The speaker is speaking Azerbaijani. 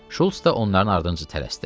Şults da onların ardınca tələsdi.